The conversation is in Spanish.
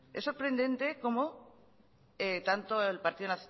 es sorprendente como tanto el partido